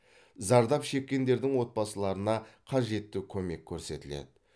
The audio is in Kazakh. зардап шеккендердің отбасыларына қажетті көмек көрсетіледі